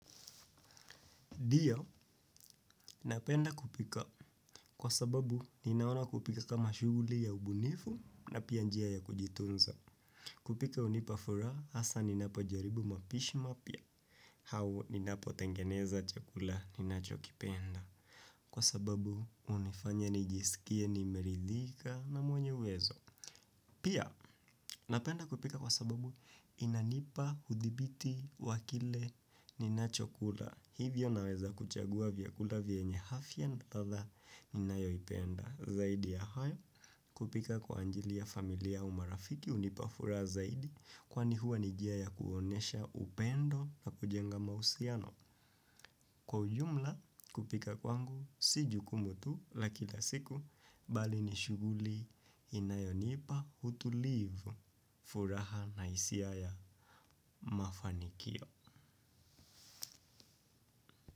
Ndio, napenda kupika kwa sababu ninaona kupika kama shughuli ya ubunifu na pia njia ya kujitunza. Kupika hunipa furaha, hasa ninapojaribu mapishi mapya, au ninapotengeneza chakula ninachokipenda. Kwa sababu, hunifanya nijisikie, nimeridhika na mwenye uwezo. Pia, napenda kupika kwa sababu inanipa udhibiti wa kile ninacho kula. Hivyo naweza kuchagua vyakula vyenye afya na ladha ninayoipenda. Zaidi ya hayo kupika kwa ajili ya familia au marafiki hunipa furaha zaidi. Kwani huwa ni njia ya kuonyesha upendo na kujenga mahusiano. Kwa ujumla kupika kwangu si jukumu tu la kila siku bali ni shughuli inayonipa utulivu. Furaha na hisia ya mafanikio.